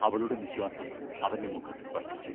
അവളുടെ നിശ്വാസം അവന്റെ മുഖത്തു സ്പർശിച്ചു.